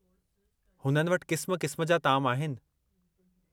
हुननि वटि क़िस्म क़िस्म जा ताम आहिनि।